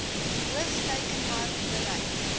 hoof teikenmark bereik